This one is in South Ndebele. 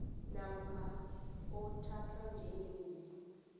namkha othathwa njengewili